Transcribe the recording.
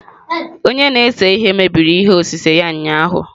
Onye na-ese ihe mebiri ihe osise ya ụnyahụ